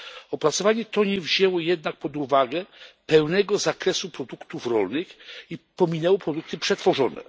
Opracowanie to nie wzięło jednak pod uwagę pełnego zakresu produktów rolnych i pominęło produkty przetworzone.